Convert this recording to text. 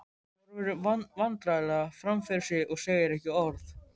Hún horfir vandræðalega fram fyrir sig og segir ekki orð.